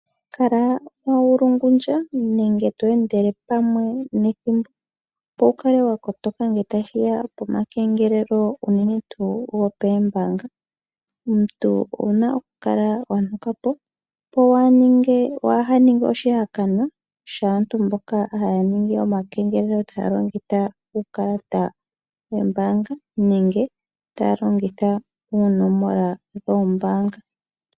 Kala to endele pamwe nethimbo opo wu kale wakotoka ngele tashiya pomakengelelo unene tuu gombaannga. Omuntu owa pumbwa okukala wanuka po waanunge oshihakanwa shaamboka haya ningi omakengelelo taya longitha uukalata woombanga nenge taya longitha oonomola dhombaanga.